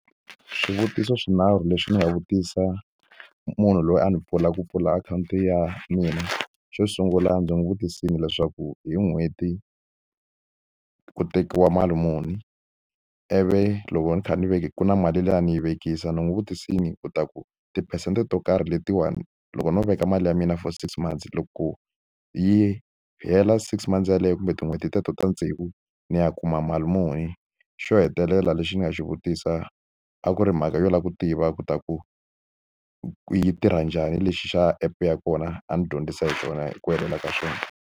Swivutiso swinharhu leswi ndzi nga vutisa munhu loyi a ni pfuna ku pfula akhawunti ya mina xo sungula ndzi n'wi vutisile leswaku hi n'hweti ku tekiwa mali muni ivu loko ni kha ni ve ku na mali liya ni yi vekisa ni n'wi vutisile ku ta ku tiphesente to karhi letiwani loko no veka mali ya mina for six months loko yi hela six months yeleyo kumbe tin'hweti ta ta ta tsevu ni ya kuma mali muni xo hetelela lexi ni nga xi vutisa a ku ri mhaka yo lava ku tiva ku ta ku yi tirha njhani lexi xa app ya kona a ni dyondzisa hi kona hi ku helela ka swona.